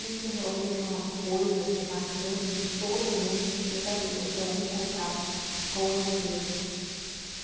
Isso realmente é uma coisa assim marcante de todo mundo que chega ali ou tem algum contato com a empresa.